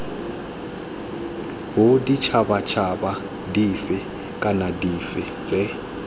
boditšhabatšhaba dife kana dife tse